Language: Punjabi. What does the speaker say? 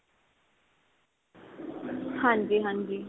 ਹਾਂਜੀ ਹਾਂਜੀ.